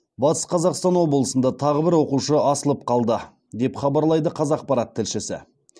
батыс қазақстан облысында тағы бір оқушы асылып қалды деп хабарлайды қазақпарат тілшісі